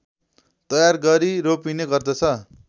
तयार गरी रोपिने गर्दछ